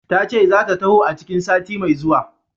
Tace zata taho a cikin sati mai zuwa.